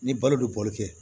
Ni balo bɛ bɔli kɛ